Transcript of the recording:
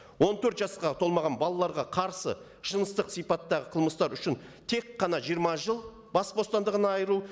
он төрт жасқа толмаған балаларға қарсы жыныстық сипаттағы қылмыстар үшін тек қана жиырма жыл бас бостандығынан айыру